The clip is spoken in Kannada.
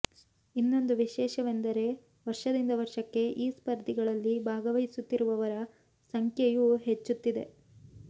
ಇನ್ನೊಂದು ವಿಶೇಷವೆಂದರೆ ವರ್ಷದಿಂದ ವರ್ಷಕ್ಕೆ ಈ ಸ್ಪರ್ಧೆಗಳಲ್ಲಿ ಭಾಗವಹಿಸುತ್ತಿರುವವರ ಸಂಖ್ಯೆಯೂ ಹೆಚ್ಚುತ್ತಿದೆ